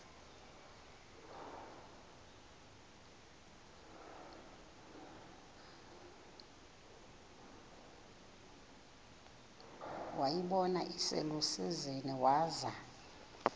wayibona iselusizini waza